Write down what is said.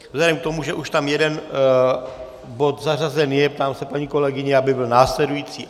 Vzhledem k tomu, že už tam jeden bod zařazen je, ptám se paní kolegyně, aby byl následující.